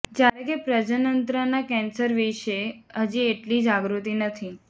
જ્યારે કે પ્રજનનતંત્રના કેન્સર વિશે હજી એટલી જાગૃતિ નથી